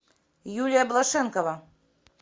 юлия блошенкова